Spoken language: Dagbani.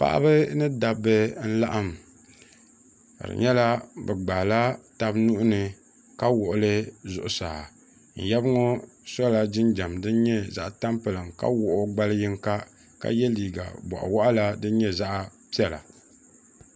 paɣaba ni dabba n-laɣim ka di nyɛla bɛ gbaai la taba nuhi ni ka wuɣili zuɣusaa n yaba ŋɔ sɔla jinjam din nyɛ zaɣ' tampilim ka wuɣi o gballi yinga ka ye liiga bɔɣi wɔɣila din nyɛ zaɣ' piɛla.